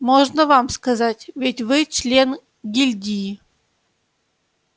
можно вам сказать ведь вы член гильдии